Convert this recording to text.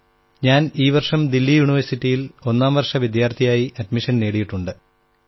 ഞാൻ ഈ വർഷം ദില്ലി യൂണിവേഴ്സിറ്റിയിൽ ഒന്നാം വർഷ വിദ്യാർഥിയായി അഡ്മിഷൻ നേടിയിട്ടുണ്ട്